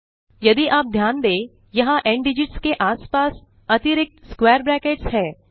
यदि आप ध्यान दें यहाँ न्दिगित्स के आस पास अतिरिक्त स्क्वैर ब्रैकेट्स हैं